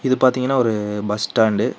இது பாத்தீங்கன்னா ஒரு பஸ் ஸ்டாண்டு .